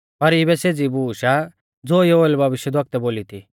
पर इऐ सेज़ी बूश आ ज़ो योएल भविष्यवक्तुऐ बोली थी